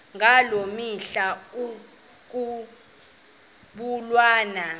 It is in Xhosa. ngaloo mihla ekwakubulawa